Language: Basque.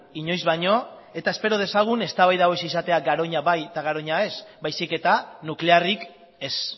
inoiz baino eta espero dezagun eztabaida hau ez izatea garoña bai eta garoña ez baizik eta nuklearrik ez